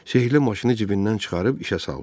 Sehrli maşını cibindən çıxarıb işə saldı.